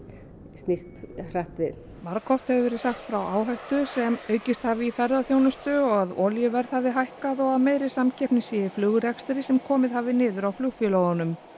snýst hratt við margoft hefur verið sagt frá áhættu sem aukist hafi í ferðaþjónustu og að olíuverð hafi hækkað og meiri samkeppni sé í flugrekstri sem komið hafi niður á flugfélögunum